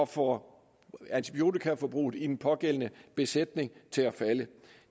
få antibiotikaforbruget i den pågældende besætning til at falde